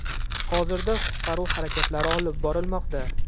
Hozirda qutqaruv harakatlari olib borilmoqda.